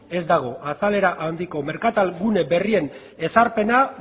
ez dago azalera handiko merkatal gune berrien ezarpena